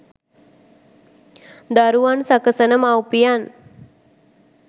දරුවන් සකසන මව්පියන්